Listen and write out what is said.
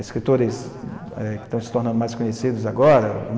Escritores eh, que estão se tornando mais conhecidos agora.